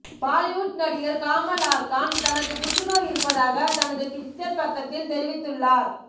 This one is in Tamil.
பாலிவுட் நடிகர் காமல் ஆர் கான் தனக்கு புற்றுநோய் இருப்பதாக தனது ட்விட்டர் பக்கத்தில் தெரிவித்து உள்ளார்